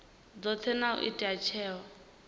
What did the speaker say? dzothe na u ita tsheo